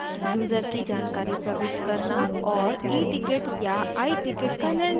user की जानकारी प्रविष्ट करना और eticket या iticket का निर्णय करना